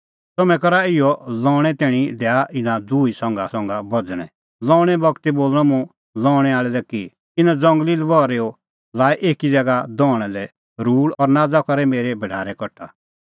तम्हैं करा इहअ लऊंणै तैणीं दैआ इना दुही संघासंघा बझ़णै लऊंणे बगती बोल़णअ मुंह लऊंणै आल़ै लै कि इना ज़ंगली लबहरैओ लाऐ एकी ज़ैगा दहणा लै रूल़ और नाज़ करै मेरै भढारै कठा